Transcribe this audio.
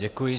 Děkuji.